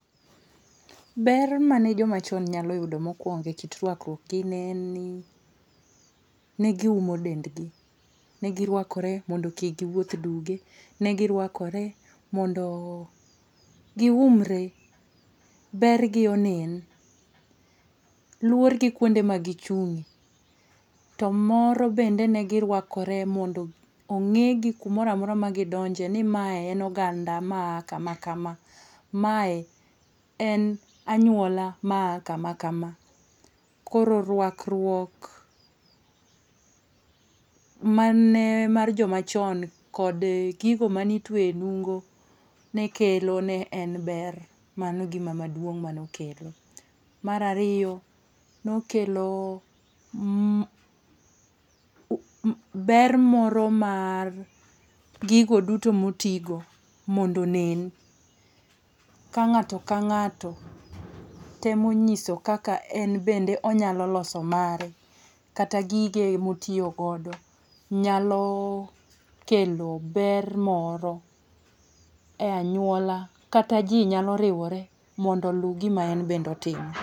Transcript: Ber mane joma chon nyalo yudo mokuongo ekit ruakruok gi ne en ni ne giumo dendgi. Ne giruakore mondo kik giwuoth duge. Ne giruakore mondo giumre, bergi onen. Luor gi kuonde ma gichung'ie to moro bende ne giruakore mondo ong'egi kumoro amora ma gidonje ni mae en oganda maa kama kama kama. Mae en anyuola maa kama kama kama. Koro ruakruok mane en mar joma chon man be gigo mane itweyo e nungo ne kelo ne en ber, mano e gima duong' mane okelo. Mar ariyo ne okelo ber moro mar gigo duto motigo mondo onen ka ng'ato kang'ato otemo nyiso kaka en bende onyalo loso mare kata gige motiyo godo nyalo kelo ber moro e anyuola kata ji nyalo riwore mondo olu gima en bende otimo.